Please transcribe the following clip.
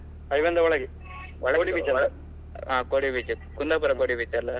Highway ಯಿಂದ ಒಳಗೆ ಹ Kodi beach, Kundapura Kodi beach ಅಲ್ವ?